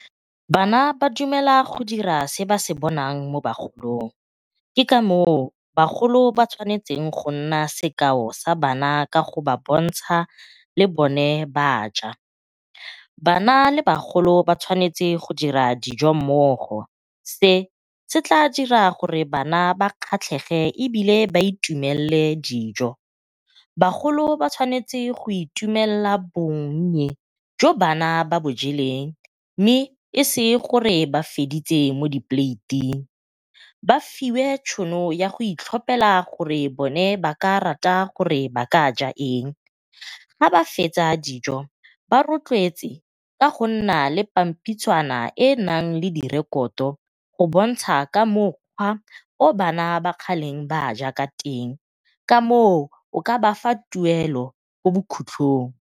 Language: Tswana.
Bana ba dumela go dira se ba se bonang mo bagolong, ke ka moo bagolo ba tshwanetseng go nna sekao sa bana ka go ba bontsha le bone baja. Bana le bagolo ba tshwanetse go dira dijo mmogo se se tla dira gore bana ba kgatlhege ebile ba itumelele dijo. Bagolo ba tshwanetse go itumelela bonnye jo bana ba bo jeleng mme e se gore ba feditse mo di poleiting. Ba fiwe tšhono ya go itlhopela gore bone ba ka rata gore ba ka ja eng ga ba fetsa dijo ba rotloetsa ka go nna le pampitshana e e naleng direkoto go bontsha ka mokgwa o bana kgale baja ka teng, ka moo o ka ba fa tuelo ko bokhutlhong.